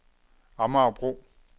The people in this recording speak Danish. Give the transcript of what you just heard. Amagerbro